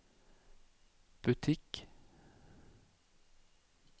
butikk